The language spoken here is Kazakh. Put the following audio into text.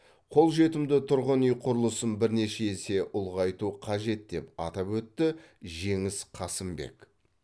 қолжетімді тұрғын үй құрылысын бірнеше есе ұлғайту қажет деп атап өтті жеңіс қасымбек